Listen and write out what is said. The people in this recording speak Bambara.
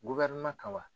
kama wa